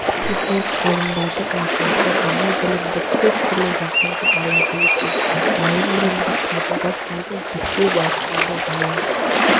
психолог-ғалымдардың айтуынша бала білімді төрт түрлі жағдайда алады екен дайын білімді қабылдап алу зерттеу барысында жаңалық